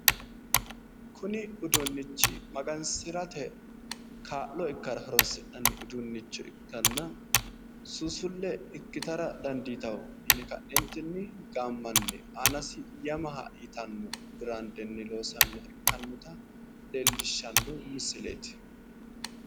kuni uduunichi magansirate kaa'lo ikkara horonsi'nani uduunicho ikkanna suuusulle ikkitara dandiitanno yine ka'neentinni gaamma aanasi yamaha yitanno biraandenni loosaminota ikkasi leellishshano misileeti